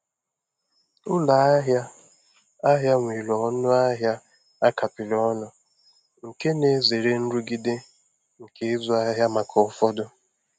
Ụlọ ahịa ahịa nwere ọnụ ahịa a kapịrị ọnụ, nke na-ezere nrụgide nke ịzụ ahịa maka ụfọdụ.